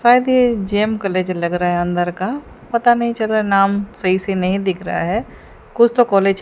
शायद ये जेम कॉलेज लग रहा है अंदर का पता नहीं चल रहा नाम सही से नहीं दिख रहा है कुछ तो कॉलेज --